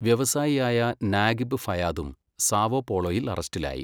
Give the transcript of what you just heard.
വ്യവസായിയായ Nagib ഫയാദും സാവോപോളോയിൽ അറസ്റ്റിലായി.